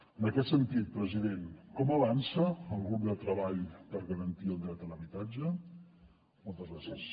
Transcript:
en aquest sentit president com avança el grup de treball per garantir el dret a l’habitatge moltes gràcies